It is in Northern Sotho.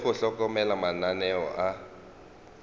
le go hlokomela mananeo a